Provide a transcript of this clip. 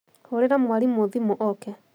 Hũrĩra mwarimũthimũoke